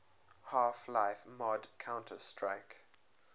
half life mod counter strike